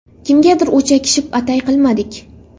Kimgadir o‘chakishib, atay qilmadik.